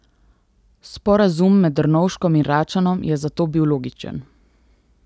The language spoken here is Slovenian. Sporazum med Drnovškom in Račanom je zato bil logičen.